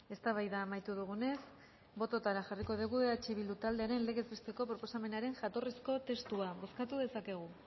eztabaida amaitu dugunez bototara jarriko dugu eh bildu taldearen legez besteko proposamenaren jatorrizko testua bozkatu dezakegu